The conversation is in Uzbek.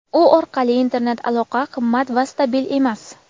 u orqali internet aloqa qimmat va stabil emas.